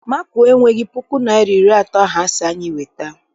Makuo enweghị puku naịra na iri atọ ahụ asị anyị weta.